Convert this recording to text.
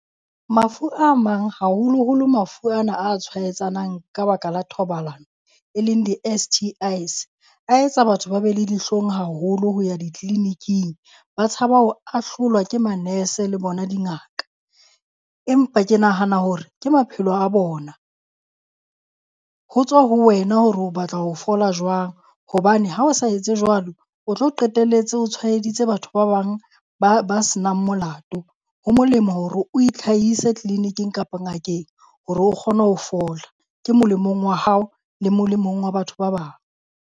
Mafu a mang haholoholo mafu ana a tshwaetsanang ka baka la thobalano, e leng di-S_T_Is a etsa batho ba be le dihlong haholo ho ya ditliliniking. Ba tshaba ho ahlolwa ke manese le bona dingaka. Empa ke nahana hore ke maphelo a bona. Ho tswa ho wena hore o batla ho fola jwang hobane ha o sa etse jwalo o tlo qetelletse o tshwaeditse batho ba bang ba ba se nang molato. Ho molemo hore o itlhahise tleleniking kapa ngakeng hore o kgone ho fola, ke molemong wa hao le molemong wa batho ba bang.